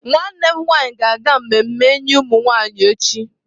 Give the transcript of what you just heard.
Nwannem nwanyi ga-aga mmemme inye umunwanyi echi.